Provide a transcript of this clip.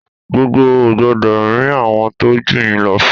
Gbogbo ò gbọ́dọ̀ rín àwọn tó jù yín lọ fín!